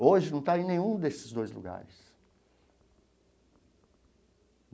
Hoje não está em nenhum desses dois lugares.